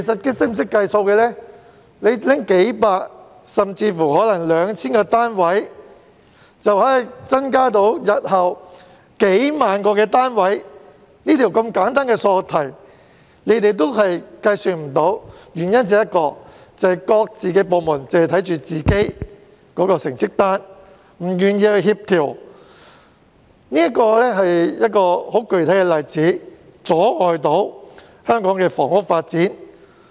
撥出數百個甚至 2,000 個單位，日後便可增加數萬個單位，如此簡單的數學題，他們都計算不到，原因只有一個，就是各部門只顧着自己的成績單，不願意協調，這是一個阻礙香港房屋發展的具體例子。